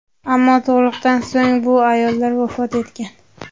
Ammo tug‘ruqdan so‘ng bu ayollar vafot etgan.